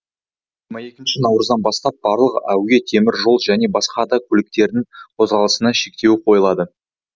жиырма екінші наурыздан бастап барлық әуе темір жол және басқа да көліктердің қозғалысына шектеу қойылады